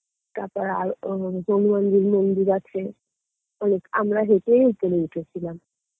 তারপর আর মন্দির আছে অনেক আমরা হেঁটে হেঁটে উঠেছিলাম